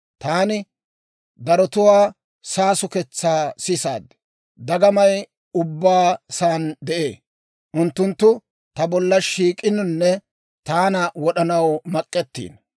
Taani darotuwaa saasuketsaa sisaad; dagamay ubbaa saani de'ee. Unttunttu ta bolla shiik'inonne taana wod'anaw mak'ettiino.